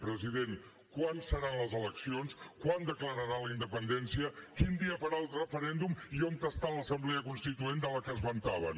president quan seran les eleccions quan declararà la independència quin dia farà el referèndum i on està l’assemblea constituent de què es vantaven